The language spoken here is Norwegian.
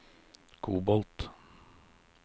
kobolt